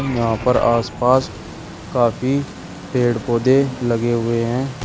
यहां पर आसपास काफी पेड़ पौधे लगे हुए हैं।